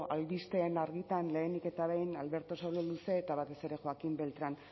albisteen arigtan lehenik eta behin alberto sololuze eta batez ere joaquín beltrán